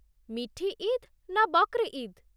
ମିଠି ଇଦ୍' ନା 'ବକ୍ର୍ ଇଦ୍'?